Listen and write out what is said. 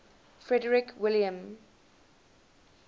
frederick william